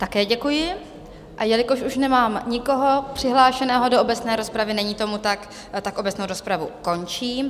Také děkuji, a jelikož už nemám nikoho přihlášeného do obecné rozpravy - není tomu tak, obecnou rozpravu končím.